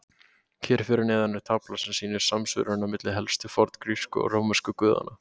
Hér fyrir neðan er tafla sem sýnir samsvörunina milli helstu forngrísku og rómversku guðanna.